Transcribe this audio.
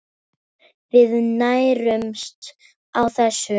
Við nærumst á þessu.